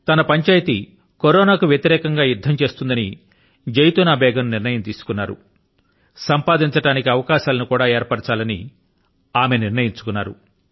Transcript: తన పంచాయతీ కరోనా తో యుద్ధం చేయాలి అలా యుద్ధం చేస్తూనే సంపాదించడానికి అవకాశాలను కూడా ఏర్పరచాలి అని జైతూనా బేగమ్ నిర్ణయించుకొన్నారు